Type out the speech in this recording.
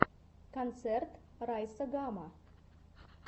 концерт райса гама